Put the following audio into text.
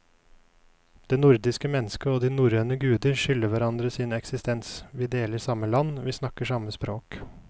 Det nordiske mennesket og de norrøne guder skylder hverandre sin eksistens, vi deler samme land, vi snakker samme språk.